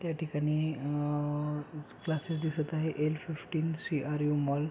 त्या ठिकाणी अअअ क्लासेस दिसत आहे L fifteen C R U mall --